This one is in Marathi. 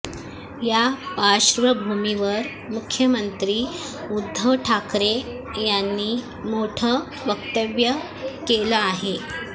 या पार्श्वभूमीवर मुख्यमंत्री उद्धव ठाकरे यांनी मोठं वक्तव्य केलं आहे